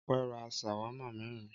Ọpẹ́ ra ṣàwámà mẹ́rin.